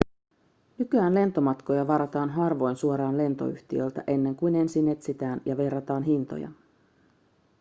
nykyään lentomatkoja varataan harvoin suoraan lentoyhtiöltä ennen kuin ensin etsitään ja verrataan hintoja